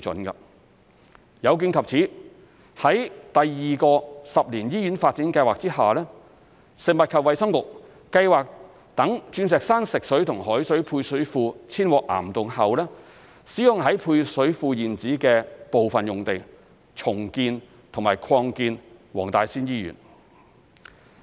有見及此，於第二個十年醫院發展計劃下，食衞局計劃待鑽石山食水及海水配水庫遷往岩洞後，使用在配水庫現址的部分用地重建和擴建黃大仙醫院。